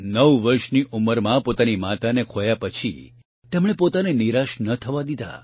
૯ વર્ષની ઉંમરમાં પોતાની માતાને ખોયા પછી તેમણે પોતાને નિરાશ ન થવા દીધા